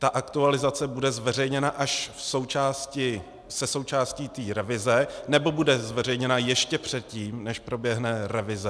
Ta aktualizace bude zveřejněna až se součástí té revize, nebo bude zveřejněna ještě předtím, než proběhne revize?